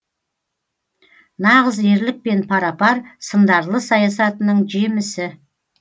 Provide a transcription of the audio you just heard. нағыз ерлікпен пара пар сындарлы саясатының жемісі